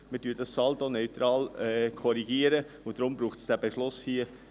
Wir korrigieren dies saldoneutral, und deshalb braucht es diesen Beschluss hier.